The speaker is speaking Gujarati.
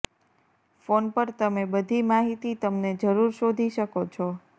ફોન પર તમે બધી માહિતી તમને જરૂર શોધી શકો છો